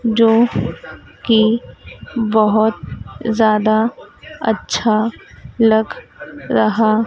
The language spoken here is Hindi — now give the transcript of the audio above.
जो की बहोत जादा अच्छा लग रहा--